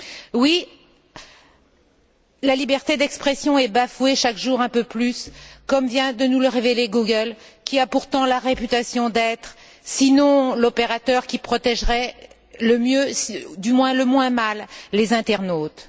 Oui, la liberté d'expression est bafouée chaque jour un peu plus, comme vient de nous le révéler Google, qui a pourtant la réputation d'être, sinon l'opérateur qui protégerait le mieux du moins le moins mal les internautes.